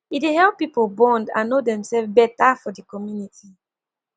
e dey help pipo bond and no demself beta for di community